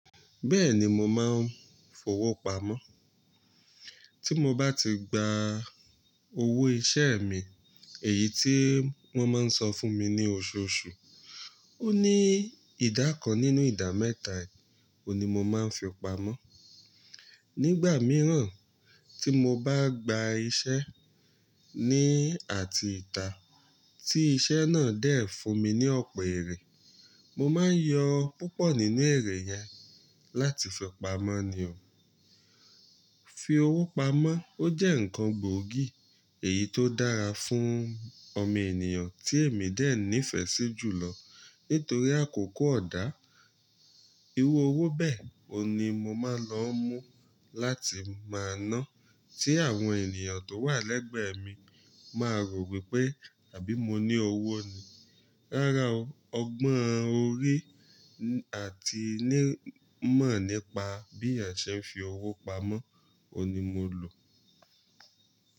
Bẹ́ẹ̀ni mo máa ń fowópamọ́. Tí mo bá ti gba owó iṣẹ́ mi, èyí tí wọ́n máa ń san fún mi ní oṣooṣù, ó ní ìdá kan nínú ìdá mẹ́ta, òní mo máa ń fi pamọ́. Nígbà mìíràn tí mo bá gba iṣẹ́ ní àti ìta tí iṣẹ́ náà dè fún mi ní ọ̀pọ̀ èrè, mo máa ń yọ púpọ̀ nínú èrè yẹn láti fi pamọ́ ni o. Fi owó pamọ́ ó jẹ́ ǹkan gbóògì èyí tó dára fún ọmọ ènìyàn tí èmi dè ní ìfẹ́ sí jùlọ nítorí àkókò ọ̀dà, Irú owó bẹ́ẹ̀ òun ní mo máa lọ ń mú láti máa ná tí àwọn ènìyàn tó wà lẹ́gbẹ̀ẹ́ mi máa rò wípé àbí mo ní owó ni. Rárá o, ọgbọ́n orí àti ní mọ̀ nípa bí ẹ̀ṣẹ̀ ń fi owó pamọ́, òní mo lò.